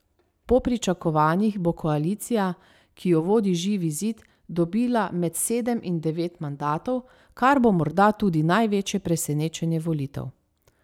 Po pričakovanjih bo koalicija, ki jo vodi Živi zid, dobila med sedem in devet mandatov, kar bo morda tudi največje presenečenje volitev.